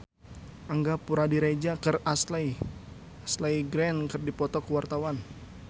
Angga Puradiredja jeung Ashley Greene keur dipoto ku wartawan